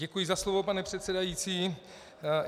Děkuji za slovo, pane předsedající.